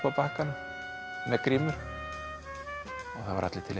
á bakkanum með grímur og það voru allir til í